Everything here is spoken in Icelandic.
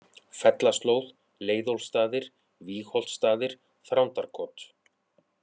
Fellaslóð, Leiðólfssstaðir, Vígholtsstaðir, Þrándarkot